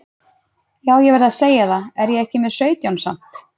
Já ég verð að segja það, er ég ekki með sautján samt?